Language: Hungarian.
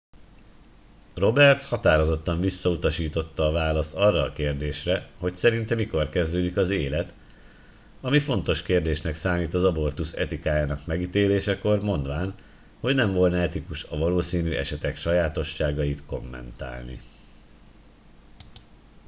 roberts határozottan visszautasította a választ arra a kérdésre hogy szerinte mikor kezdődik az élet ami fontos kérdésnek számít az abortusz etikájának megítélésekor mondván hogy nem volna etikus a valószínű esetek sajátosságait kommentálni